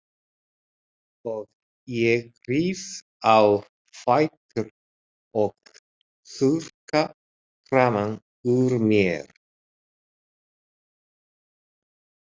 Og ég rís á fætur og þurrka framan úr mér.